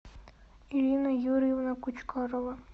ирина юрьевна кучкарова